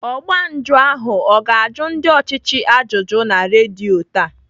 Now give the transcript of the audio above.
Ọgba njụ ahụ ọ ga-ajụ ndị ọchịchị ajụjụ na redio taa?